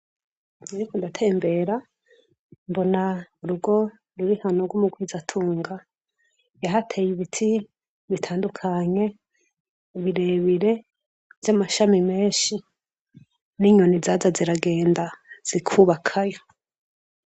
Ariko ndatembera mbona urugo rurihano rw'umugwiza atunga yahateye ibiti bitandukanye ubirebire vy'amashami menshi n'inyoni zaza ziragenda zikubakayo.